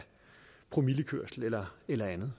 promillekørsel eller eller andet